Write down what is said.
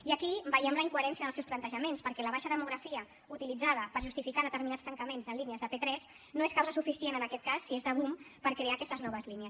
i aquí veiem la incoherència dels seus plantejaments perquè la baixa demografia utilitzada per justificar determinats tancaments de línies de p3 no és causa suficient en aquest cas si és de boom per crear aquestes noves línies